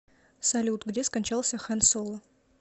салют где скончался хэн соло